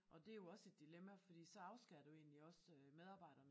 Og det jo også et dilemma fordi så afskærer du egentlig også medarbejderne